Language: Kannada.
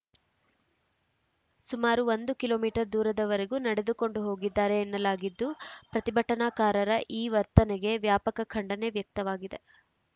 ಸುಮಾರು ಒಂದು ಕಿಲೋ ಮೀಟರ್ ದೂರದವರೆಗೂ ನಡೆದುಕೊಂಡು ಹೋಗಿದ್ದಾರೆ ಎನ್ನಲಾಗಿದ್ದು ಪ್ರತಿಭಟನಾಕಾರರ ಈ ವರ್ತನೆಗೆ ವ್ಯಾಪಕ ಖಂಡನೆ ವ್ಯಕ್ತವಾಗಿದೆ